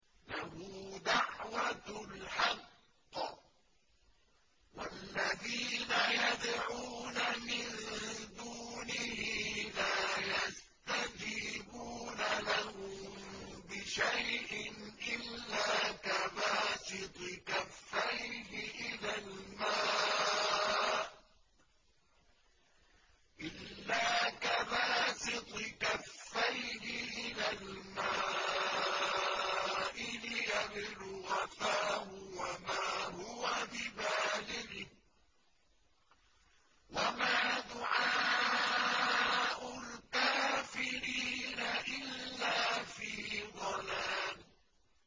لَهُ دَعْوَةُ الْحَقِّ ۖ وَالَّذِينَ يَدْعُونَ مِن دُونِهِ لَا يَسْتَجِيبُونَ لَهُم بِشَيْءٍ إِلَّا كَبَاسِطِ كَفَّيْهِ إِلَى الْمَاءِ لِيَبْلُغَ فَاهُ وَمَا هُوَ بِبَالِغِهِ ۚ وَمَا دُعَاءُ الْكَافِرِينَ إِلَّا فِي ضَلَالٍ